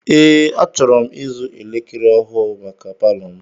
Ee, achọrọ m ịzụ elekere ọhụụ maka palọ m.